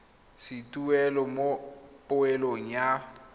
sa tuelo mo poelong ya